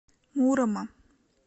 мурома